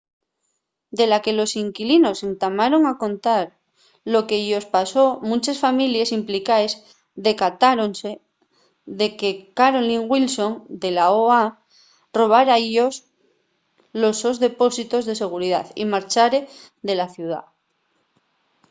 de la que los inquilinos entamaron a contar lo que-yos pasó munches families implicaes decatáronse de que carolyn wilson de la oha robára-yos los sos depósitos de seguridá y marchare de la ciudá